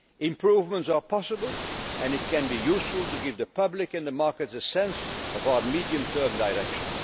difficult. Improvements are possible, and it can be useful to give the public and the markets a sense of our medium term